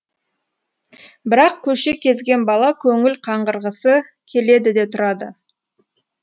бірақ көше кезген бала көңіл қаңғырғысы келеді де тұрады